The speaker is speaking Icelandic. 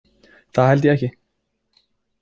Það held ég ekki.